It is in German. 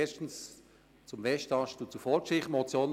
Erstens zum Westast und zur Vorgeschichte.